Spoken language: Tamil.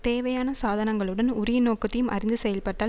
தேவையான சாதனங்களுடன் உரிய நோக்கத்தையும் அறிந்து செயல்பட்டால்